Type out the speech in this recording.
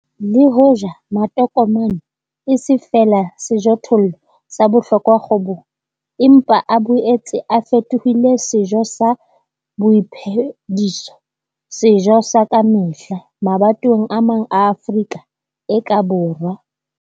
Le hoja matokomane e se feela sejothollo sa bohlokwa kgwebong, empa a boetse a fetohile sejo sa boiphediso sejo sa ka mehla mabatoweng a mang a Afrika e ka borwa.